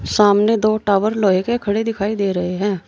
सामने दो टावर लोहे के खड़े दिखाई दे रहे हैं।